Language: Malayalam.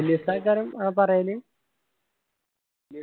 വെല്യ ഉസ്താ കരം ആഹ് പറയല്